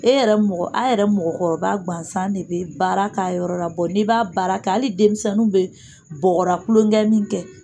E yɛrɛ mɔgɔ a yɛrɛ mɔgɔkɔrɔba ŋansan ne be baara k'a yɔrɔ la bɔ n'ib'a baara kɛ ali denmisɛnnuw be bɔgɔra kulonkɛ min kɛ